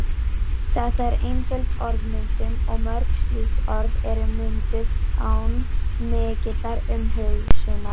Þetta er einföld orðmyndun og mörg slík orð eru mynduð án mikillar umhugsunar.